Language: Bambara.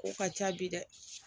Ko ka ca bi dɛ